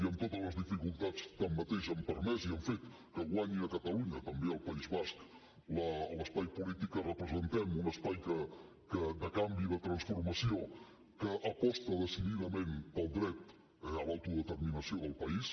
i amb totes les dificultats tanmateix han permès i han fet que guanyi a catalunya també al país basc l’espai polític que representem un espai de canvi i de transformació que aposta decididament pel dret a l’autodeterminació del país